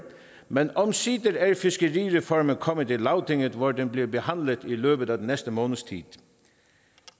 men omsider er fiskerireformen kommet i lagtinget hvor den bliver behandlet i løbet af den næste måneds tid